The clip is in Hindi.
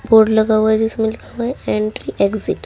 बोर्ड लगा हुआ है जिसमे लिखा हुआ है एंट्री एक्सिट ।